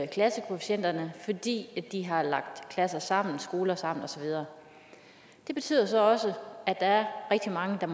klassekvotienterne fordi de har lagt klasser sammen og skoler sammen og så videre det betyder så også at der er rigtig mange